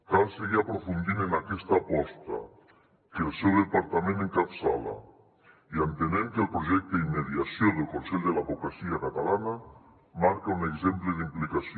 cal seguir aprofundint en aquesta aposta que el seu departament encapçala i entenem que el projecte de mediació del consell de l’advocacia catalana marca un exemple d’implicació